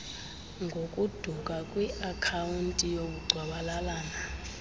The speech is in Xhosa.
ngokuduka kwiakhawunti yobugcwabalalana